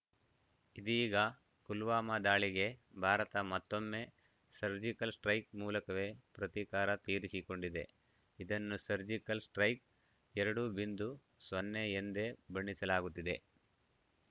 ಇದೀಗ ಪುಲ್ವಾಮಾ ದಾಳಿಗೆ ಭಾರತ ಮತ್ತೊಮ್ಮೆ ಸರ್ಜಿಕಲ್‌ ಸ್ಟೈಕ್‌ ಮೂಲಕವೇ ಪ್ರತೀಕಾರ ತೀರಿಸಿಕೊಂಡಿದೆ ಇದನ್ನು ಸರ್ಜಿಕಲ್‌ ಸ್ಟೈಕ್‌ ಎರಡು ಬಿಂಧು ಸೊನ್ನೆ ಎಂದೇ ಬಣ್ಣಿಸಲಾಗುತ್ತಿದೆ